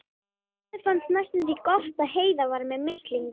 Mömmu fannst næstum því gott að Heiða var með mislinga.